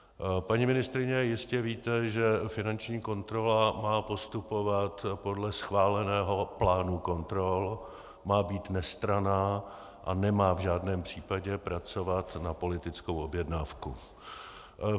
Paní ministryně, jistě víte, že finanční kontrola má postupovat podle schváleného plánu kontrol, má být nestranná a nemá v žádném případě pracovat na politickou objednávku.